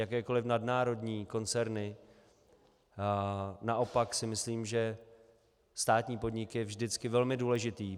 Jakékoli nadnárodní koncerny, naopak si myslím, že státní podnik je vždycky velmi důležitý.